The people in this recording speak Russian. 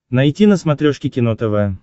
найти на смотрешке кино тв